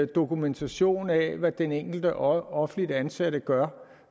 dokumentation af hvad den enkelte offentligt ansatte gør